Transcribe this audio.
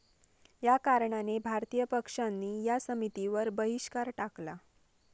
या कारणाने भारतीय पक्षांनी या समितीवर बहिष्कार टाकला.